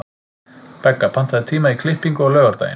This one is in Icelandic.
Begga, pantaðu tíma í klippingu á laugardaginn.